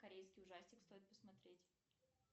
корейский ужастик стоит посмотреть